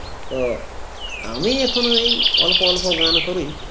তো আমি এখন ঐ অল্প অল্প গান করি